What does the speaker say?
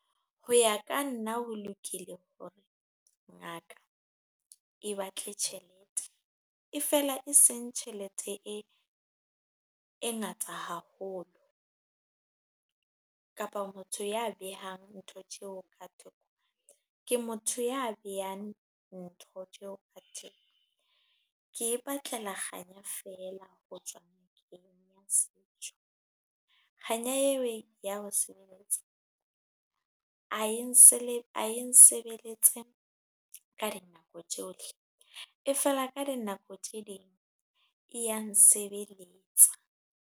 Ho ya ka nna ho lokile hore ngaka e batle tjhelete, e feela e seng tjhelete e ngata haholo kapa motho ya behang ntho tseo ka , ke motho ya behang ntho tseo . Ke ipatlela kganya feela ho tswa kganya eo e ya nsebeletsa, ha e se nsebeletse ka dinako tsohle, e feela ka dinako tse ding e ya nsebeletsa.